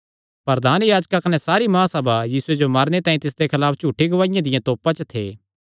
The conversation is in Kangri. प्रधान याजक कने सारी महासभा यीशुये जो मारने तांई तिसदे खलाफ झूठी गवाहिया दिया तोपा च थे